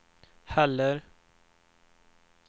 heller